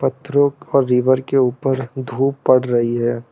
और रिवर के ऊपर धूप पड़ रही है।